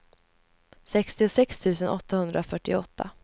sextiosex tusen åttahundrafyrtioåtta